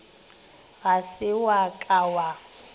ga se wa ka wa